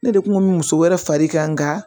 Ne de kun mɛ muso wɛrɛ far'i kan nka